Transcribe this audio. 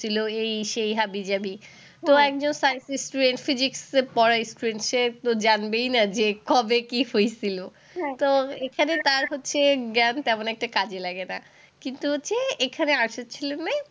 করছিল, এই সেই হাবি-জাবি। তো একজন science এর student physics পড়া জানে, সে তো জানবেই না কবে কি হয়েছিল। তো এখানে তার হচ্ছে জ্ঞান তেমন একটা কাজে লাগে না। কিন্তু যে এখানে arts এর ছেলেমেয়ে,